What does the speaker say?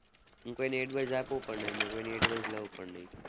હું કોઈ ને advice આપું પણ નહીં ને કોઈ ની advice લઉં પણ નહીં.